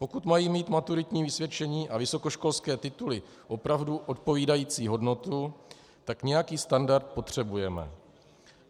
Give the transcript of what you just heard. Pokud mají mít maturitní vysvědčení a vysokoškolské tituly opravdu odpovídající hodnotu, tak nějaký standard potřebujeme.